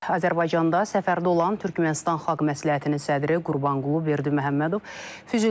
Azərbaycanda səfərdə olan Türkmənistan xalq məsləhətinin sədri Qurbanqulu Berdiməhəmmədov Füzuli rayonuna gedib.